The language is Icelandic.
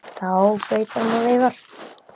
Þá flautar hann og veifar.